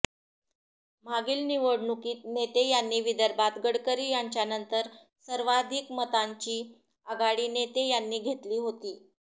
मागील निवडणुकीत नेते यांनी विदर्भात गडकरी यांच्यानंतर सर्वाधिक मतांची आघाडी नेते यांनी घेतली होती